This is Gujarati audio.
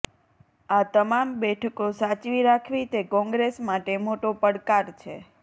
આ તમામ બેઠકો સાચવી રાખવી તે કોંગ્રેસ માટે મોટો પડકાર છે